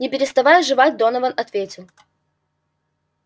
не переставая жевать донован ответил